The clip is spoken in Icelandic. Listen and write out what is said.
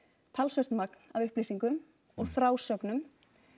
talsvert magn af upplýsingum og frásögnum